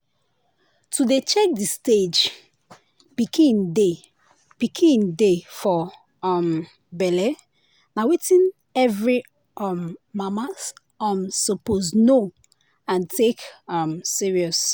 to dey check the stage pikin dey pikin dey for um belle na wetin every um mama um suppose know and take um serious.